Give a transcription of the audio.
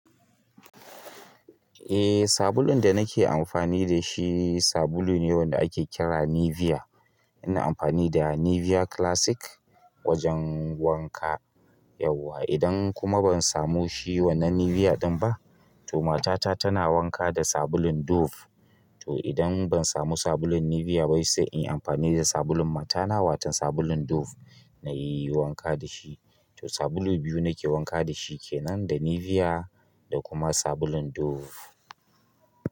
Eh, sabulun da nake amfani da shi sabulu ne wanda ake kira Nivea. Ina amfani da Nivea Classic wajen wanka yauwa. Idan kuma ban samu shi wannan Nivea ɗin ba, to matata tana wanka da sabulun Dove. To idan ban samu sabulun Nivea bai sai in yi amfani da sabulun matana, wato sabulun Dove na yi wanka da shi. To sabulu biyu nake wanka da shi kenan, da Nivea da kuma sabulun Dove.